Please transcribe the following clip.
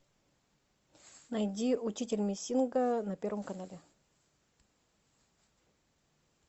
найди учитель мессинга на первом канале